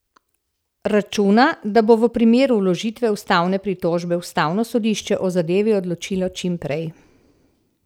Računa, da bo v primeru vložitve ustavne pritožbe ustavno sodišče o zadevi odločilo čim prej.